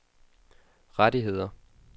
rettigheder